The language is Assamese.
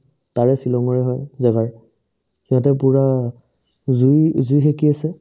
তাৰে ছিলঙৰে হয় জাগাৰ সিহঁতে পূৰা জুই জুই সেকি আছে